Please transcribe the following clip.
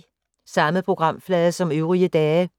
Samme programflade som øvrige dage